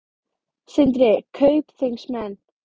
Sindri: Kaupþingsmenn?